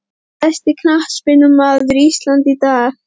Besti knattspyrnumaður Íslands í dag?